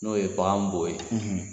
N'o ye bagan bɔ ye!